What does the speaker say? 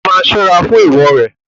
O máa ṣọ́rá fún èèwò rẹ.